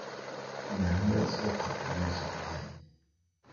Dawadha sohadhe meshan keen.